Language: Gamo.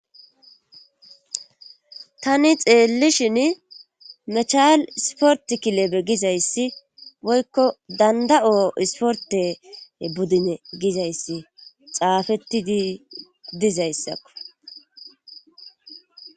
tani xeellishin mechal isport kilebe gizayssi woykko danda7o isporte buddine gizayssi xaafettii dizayssakko